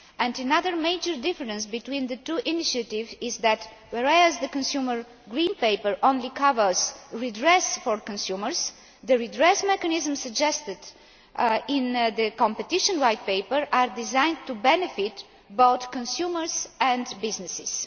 Another major difference between the two initiatives is that, whereas the consumer green paper only covers redress for consumers, the redress mechanism suggested in the competition white paper is designed to benefit both consumers and businesses.